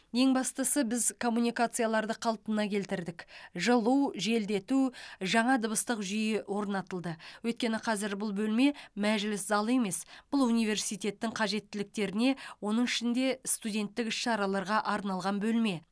ең бастысы біз коммуникацияларды қалпына келтірдік жылу желдету жаңа дыбыстық жүйе орнатылды өйткені қазір бұл бөлме мәжіліс залы емес бұл университеттің қажеттіліктеріне оның ішінде студенттік іс шараларға арналған бөлме